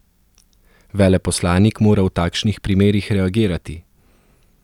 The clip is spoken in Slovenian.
Veleposlanik mora v takšnih primerih reagirati.